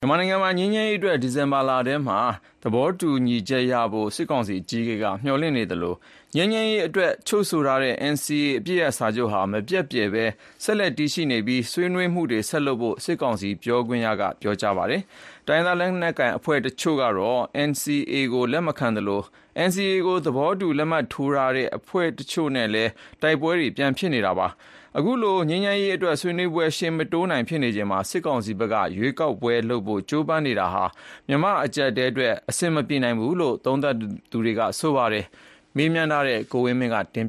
မြန်မာနိုင်ငံမှာ ငြိမ်းချမ်းရေးအတွက် ဒီဇင်ဘာလထဲမှာ သဘောတူညီချက်ရဖို့ စစ်ကောင်စီအကြီးအကဲက မျှော်လင့်နေသလို ငြိမ်းချမ်းရေးအတွက်ချုပ်ဆိုတဲ့ NCA တနိုင်ငံလုံးအပစ်ရပ်စာချုပ်ဟာ မပျက်ပြယ်ပဲ ဆက်လက်တည်ရှိနေပြီး ဆွေးနွေးမှုတွေ ဆက်လုပ်ဖို့ စစ်ကောင်စီပြောခွင့်ရက ပြောကြားခဲ့ပါတယ်။ တိုင်းရင်းသား လက်နက်ကိုင်အဖွဲ့တချို့ကတော့ NCA ကို လက်မခံသလို NCA ကို သဘောတူလက်မှတ်ရေးထိုးခဲ့တဲ့ အဖွဲ့တွေနဲ့လည်း လက်ရှိမှာတိုက်ပွဲတွေ ပြန်ဖြစ်နေတာပါ။ အခုလို ငြိမ်းချမ်းရေးအတွက် ဆွေးနွေးပွဲတွေ ရှေ့မတိုးနိုင်ပဲ ဖြစ်နေချိန်မှာ စစ်ကောင်စီဘက်က ရွေးကောက်ပွဲပြန်လုပ်ဖို့ ကြိုးပမ်းနေတာဟာ မြန်မာ့အကြပ်အတည်းအတွက် အဆင်မပြေနိုင်ဘူးလို့ သုံးသပ်သူတွေက ပြောပါတယ်။ ဆက်သွယ်မေးမြန်းထားတဲ့ ကိုဝင်းမင်းက တင်